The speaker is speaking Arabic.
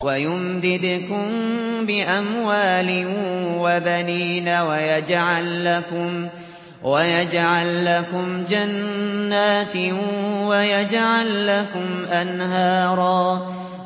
وَيُمْدِدْكُم بِأَمْوَالٍ وَبَنِينَ وَيَجْعَل لَّكُمْ جَنَّاتٍ وَيَجْعَل لَّكُمْ أَنْهَارًا